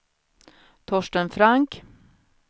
Torsten Frank